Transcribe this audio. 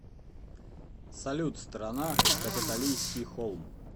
салют страна капитолийский холм